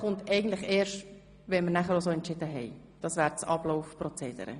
Es liegen noch zwei Anträge der SVP vor.